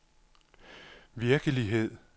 virkelighed